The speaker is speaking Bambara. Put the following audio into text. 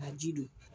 Ka ji don